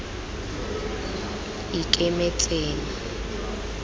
ikemetseng